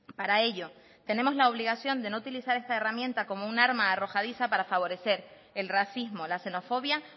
para ello tenemos la obligación de no utilizar esta herramienta como un arma arrojadiza para favorecer el racismo la xenofobia